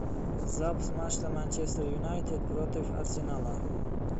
запись матча манчестер юнайтэд против арсенала